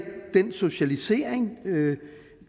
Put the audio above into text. den socialisering